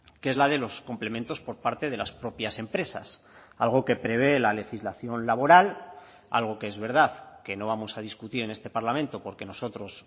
que es la de los complementos por parte de las propias empresas algo que prevé la legislación laboral algo que es verdad que no vamos a discutir en este parlamento porque nosotros